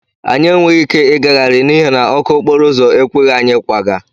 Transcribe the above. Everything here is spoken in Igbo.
Anyị enweghị ike ịgagharị n'ihi na ọkụ okporo ụzọ ekweghị anyị ịkwaga.